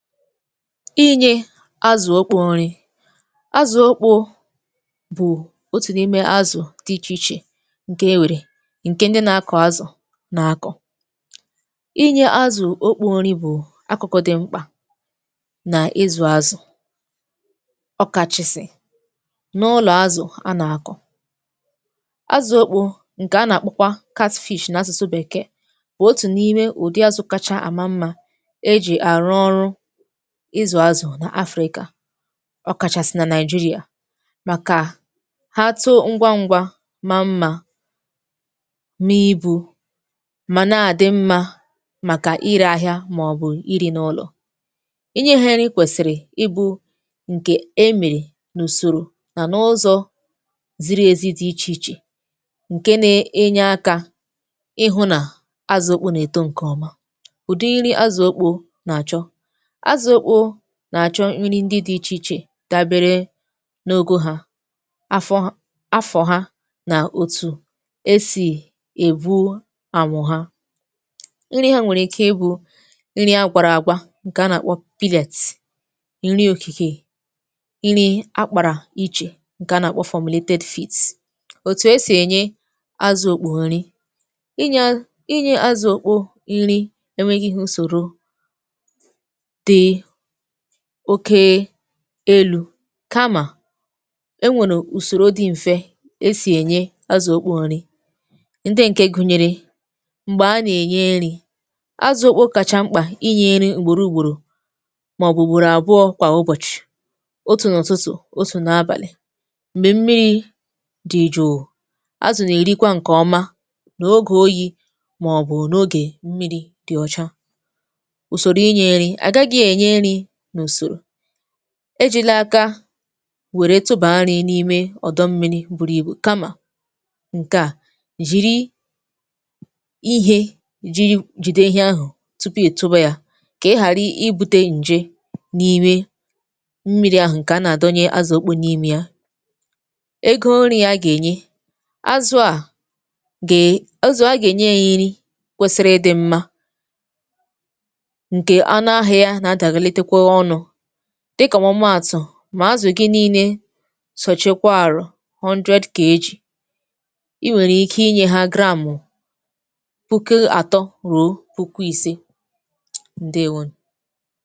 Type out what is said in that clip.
Inyė azụ̀ okpo nri. Azụ̀ okpo bụ̀ otù n’imė azụ̀ dị ichè ichè ǹkè enwèrè, ǹkè ndị nȧ-ȧkụ azụ̀ nà-akọ̀. Inyė azụ̀ okpo nri bụ̀ akụ̀kụ̀ dị̀ mkpà nà ịzụ̀ azụ̀, ọ̀kàchàsị̀ n’ụlọ̀ azụ̀ anà-àkọ̀. Azụ̀ okpo ǹkè a nà-akpọ kwa n’asụ̀sụ bèkee, wụ̀ otù n’ime ụ̀dị azụ̀ kacha àma mmȧ, eji arụ ọrụ ịzụ̀ azụ̀ nà Afrịka, ọkàchàsị̀ nà Naijiria, màkà ha too ngwa ngwa ma mmà na ibu̇, mà na-adị mmȧ màkà irė ahịa màọbụ̀ iri n’ụlọ̀. Inye ha ịrị ị kwèsìrì ibu̇ ǹkè e mèrè n’ùsòrò nà ụzọ̀ ziri ezi dị ichè ichè, ǹke n’enye akȧ ịhụ̇ nà azụ̀ okpo nà-èto ǹkè ọma. Ụ̀dị iri azụ̀ okpo nà-àchọ. Azụ okpo nà-àchọ nri ndị dị̇ ichè ichè dabere n’ogȯ ha, afọ h, afọ̀ ha na òtù esì ègwu anwụ̇ ha. Nri hȧ nwèrè ike ị bụ̇ nri agwàra àgwa, ǹkè a nà-àkpọ, ǹri òkìkè, nri akpàrà ichè, ǹkè a nà-àkpọ. Otù esì ènye azụ̀ okpo nri. Inyė inye azụ̀ okpo nri enwėghi̇hu ụsòro dị oke elu̇ kamà, enwèrè ùsòrò dị m̀fe esì ènye azụ̀ okpò nri, ndị ǹke gụnyere, m̀gbè a nà-ènye nri̇, azụ̀ okpò kacha mkpà inyė iri ugbòrò ùgbòrò màọ̀bù ugbòrò àbụọ kwà ụbọ̀chị̀, otù n’ụtụtụ, otù n’abàlị̀. Mgbè mmiri̇ dị jụụ, azụ̀ nà-èrikwa ǹkè ọma n’ogè oyi̇, màọ̀bụ̀ n’ogè mmiri̇ dị ọcha. Ụsòro ịnye nri, agagị enye nri na usoro, ejìla aka wère tupù nri n’ime ọ̀dọ mmiri̇ buru ibù, kamà ǹkè a, jìri ihe jiri jìde ihe ahụ̀ tupu ịtuba ya, kà ihàri ibu̇tė ǹje n’ime mmiri̇ ahụ̀ ǹkè a nà-àdọnye azụ̀ okpo n'ime ya. Egȯ nri̇ a gà-ènye azụ̀ a, ga e, azụ a aga enye ya nri kwesiri ịdị̇ mmȧ, nke ọnụ ahịa ya na adahelite kwa ọnụ, dịkà ọmụmàtụ̀, mà azụ̀ gị niinè sọ̀chekwà arụ̀ i nwèrè ike inyė ha puku atọ̀ rụ̀o puku ise, ǹdewonù.